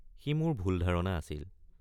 সি মোৰ ভুল ধাৰণা আছিল।